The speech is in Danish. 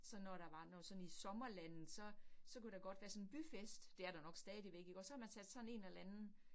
Sådan når der var noget sådan i sommerlandet, så så kunne der godt være sådan en byfest, det er der nok stadigvæk ikke også, så havde man sat sådan en eller anden